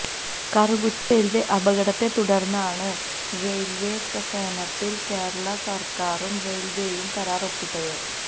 Karukutty rail അപകടത്തെ തുടര്ന്നാണ് റെയില്വികസനത്തില് കേരളാ സര്ക്കാരും റെയില്വെയും കരാര് ഒപ്പിട്ടത്